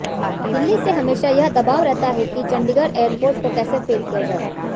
दिल्ली से हमेशा यह दबाव रहता है कि चंडीगढ़ एयरपोर्ट को कैसे फेल किया जाए